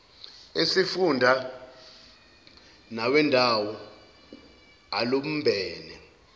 esifunda nawendawo alumbene